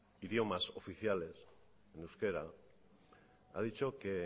idiomas oficiales en euskera ha dicho que